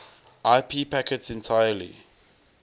ip packets entirely